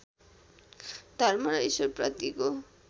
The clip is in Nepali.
धर्म र र्इश्वरप्रतिको